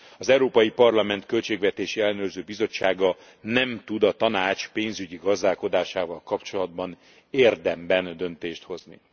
Az Európai Parlament Költségvetési Ellenőrző Bizottsága nem tud a Tanács pénzügyi gazdálkodásával kapcsolatban érdemben döntést hozni.